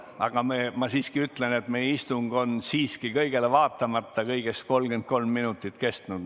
Aga ma siiski ütlen, et meie istung on kõigele vaatamata kõigest 33 minutit kestnud.